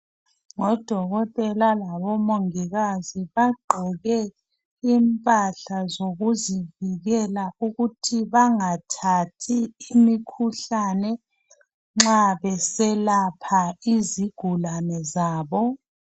Odokotela labomongikazi bagqoke impahla zokuzivikela ukuthi bengathathi imikhuhlane nxa beselapha izigulane zabo.